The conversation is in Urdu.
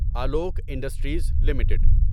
Alok industries limited